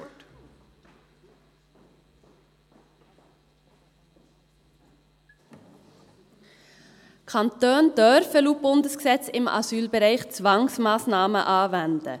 Die Kantone dürfen laut Bundesgesetz im Asylbereich Zwangsmassnahmen anwenden.